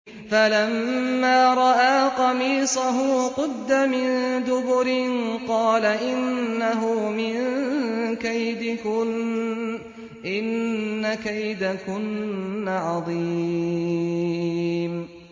فَلَمَّا رَأَىٰ قَمِيصَهُ قُدَّ مِن دُبُرٍ قَالَ إِنَّهُ مِن كَيْدِكُنَّ ۖ إِنَّ كَيْدَكُنَّ عَظِيمٌ